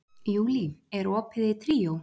Júlí, er opið í Tríó?